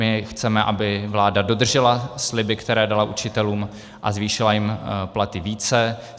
My chceme, aby vláda dodržela sliby, které dala učitelům, a zvýšila jim platy více.